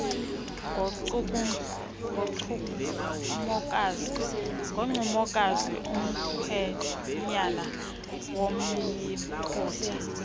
ngoncumokazi umkhwenyana womyiputa